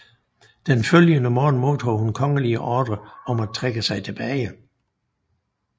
Den følgende morgen modtog hun kongelige ordrer om at trække sig tilbage